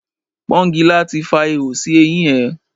Pọ́ngilá ti fa ihò sí eyín ẹ.